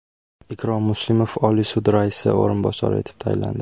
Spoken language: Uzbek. Ikrom Muslimov Oliy sud raisi o‘rinbosari etib tayinlandi.